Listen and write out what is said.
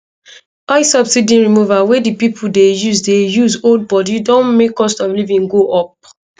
oil subsidy removal wey di pipo dey use dey use hold body don make cost of living go up